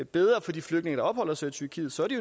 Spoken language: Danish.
bedre for de flygtninge der opholder sig i tyrkiet så er det